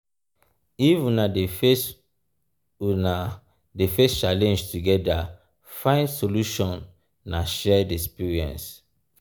if una dey face una dey face challenge togeda find solution na shared experience.